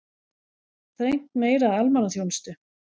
Þrengt meira að almannaþjónustu